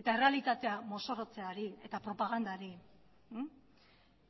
eta errealitatea mozorrotzeari eta propagandari